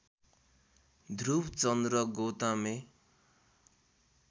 Dhruv Chandra Gotame